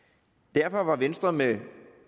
derfor var venstre med